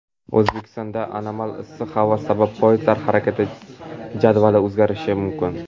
O‘zbekistonda anomal issiq havo sabab poyezdlar harakat jadvali o‘zgarishi mumkin.